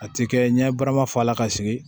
A ti kɛ ɲɛ barama fɔ a la ka sigi